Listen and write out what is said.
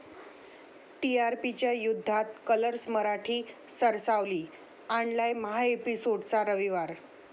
टीआरपीच्या युद्धात कलर्स मराठी सरसावली, आणलाय महाएपिसोड्सचा रविवार